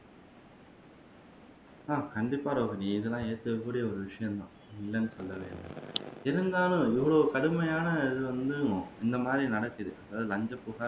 ஆஹ் கண்டிப்பா ரோஹினி இதெல்லாம் ஏற்கக்கூடிய ஒரு விஷயம்தான் இல்லன்னு சொல்லல்ல இருந்தாலும் இவ்வளவு கடுமையான இது வந்து இன்னும் இந்தமாதிரி நடக்குது அதாவது இலஞ்சம்